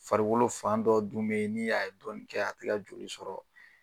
Farikolo fan dɔ dun bɛ yen ni a ye dɔnnin kɛ a tɛ ka joli sɔrɔ